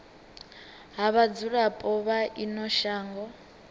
ha vhadzulapo vha ino shango